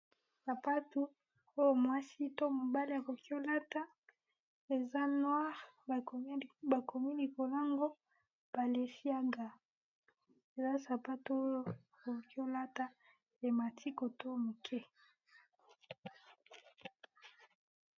Sapatu oyo mwasi to mobali a koki ko lata eza noir ba komi likolo n'ango bilesiaga, eza sapatu oyo koki olata emati côte oyo moke .